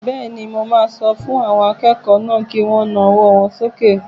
Bẹ́ẹ̀ni, mo máa sọ fún àwọn akẹ́kọ̀ọ́ náà kí wọ́n na ọwọ́ wọn sókè